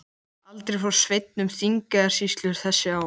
Aldrei fór Sveinn um Þingeyjarsýslur þessi ár.